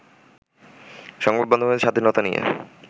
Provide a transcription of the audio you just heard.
সংবাদ মাধ্যমের স্বাধীনতা নিয়ে